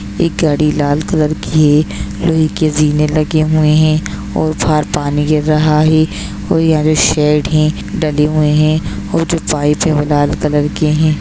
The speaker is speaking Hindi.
एक गाड़ी लाल कलर की है लोहे की जीने लगे हुए हैं और बाहर पानी गिर रहा है और यह शेड है लगे हुए हैं और वह जो पाइप है वो लाल कलर के हैं।